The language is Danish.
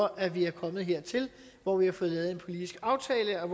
at vi er kommet hertil hvor vi har fået lavet en politisk aftale og